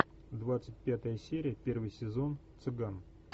двадцать пятая серия первый сезон цыган